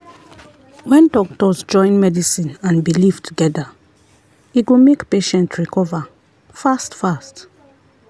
when doctors join medicine and belief together e go make patient recover fast-fast.